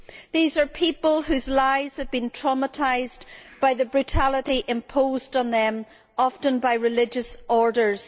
These are people whose lives have been traumatised by the brutality imposed on them, often by religious orders.